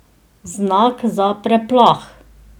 Znak za preplah?